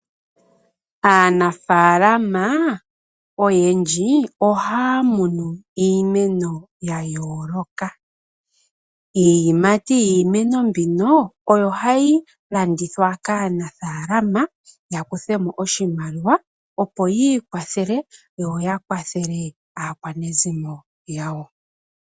Aanafaalama oyendji ohaya munu iimeno ya yooloka. Iiyimati yiimeno mbino oyo hayi landithwa kaanafalama ya kuthe mo oshimaliwa opo yi ikwathele yoya kwathele aakwanezimo yawo.